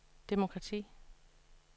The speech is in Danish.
demokrati